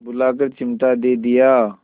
बुलाकर चिमटा दे दिया